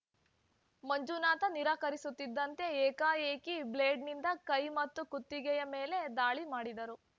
ಮಂಜುನಾಥ ನಿರಾಕರಿಸುತ್ತಿದ್ದಂತೆ ಏಕಾಏಕಿ ಬ್ಲೇಡ್‌ನಿಂದ ಕೈ ಮತ್ತು ಕುತ್ತಿಗೆಯ ಮೇಲೆ ದಾಳಿ ಮಾಡಿದರು